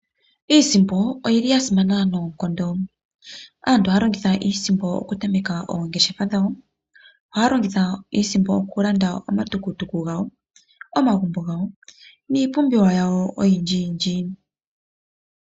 Iisimpo oya simana noonkondo. Aantu ohaya longitha iisimpo okutameka oongeshefa dhawo. Ohaya longitha iisimpo okulanda omatukutuku gawo, omagumbo gawo niipumbiwa yawo oyindjiyindji.